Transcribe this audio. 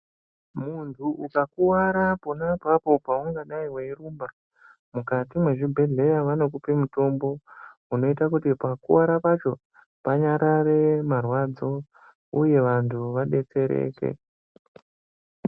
Muntu ukakuwara pona apapo paungadai weirumba mukati mwezvibhedheya vanokupa mutombo unoita kuti pakuwara pacho panyarare marwadzo uye vantu vadetsereke.